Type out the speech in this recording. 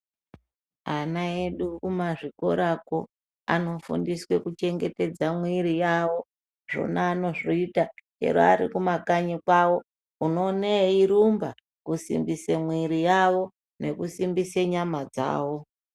Ana edu kumazvikorako anofundiswe kuchengetedza mwiiri yavo zvona anozviita chero arikumakanyi kwavo, unoone ierumba kusimbise mwiiri yavo nekusimbise nyama dzavo.